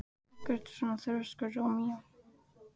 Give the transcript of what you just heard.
Af hverju ertu svona þrjóskur, Rómeó?